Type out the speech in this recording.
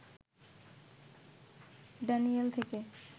Daniel থেকে